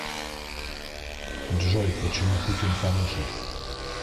джой почему путин хороший